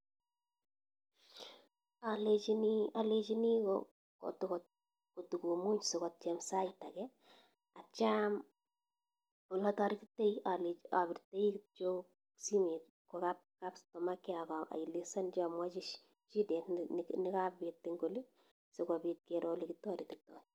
Alechini kotokomuny sikotiem en sait ake atyam olataretitai apirtai kityo simet kwo kap safaricom , akaelesanchi amwachi shetet nikapit en oli sikopit kero olekitarititai.